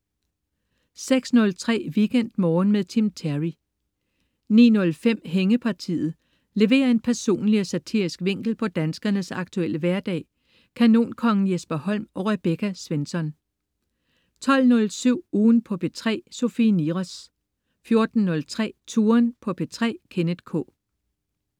06.03 WeekendMorgen med Tim Terry 09.05 Hængepartiet. Leverer en personlig og satirisk vinkel på danskernes aktuelle hverdag. Kanonkongen Jesper Holm og Rebecca Svensson 12.07 Ugen på P3. Sofie Niros 14.03 Touren på P3. Kenneth K